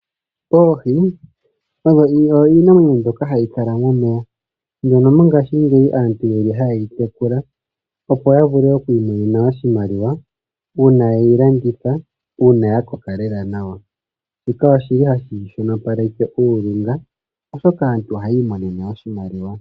Oohi odho iinamwenyo mbyoka hayi kala momeya, mbyoka mongashingeyi aantu yeli ha yeyi tekula, opo ya vule okwiimonena oshimaliwa, uuna yedhi landitha, uuna dha koka lela, shika oshili hashi shono paleke uulunga, oshoka aantu ohaya imonene oshimaliwa.